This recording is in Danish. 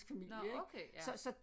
Nåh okay ja